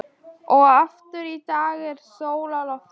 Og aftur í dag er sól á lofti.